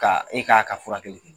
Ka e k'a ka furakɛli kɛ